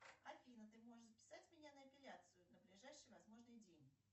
афина ты можешь записать меня на эпиляцию на ближайший возможный день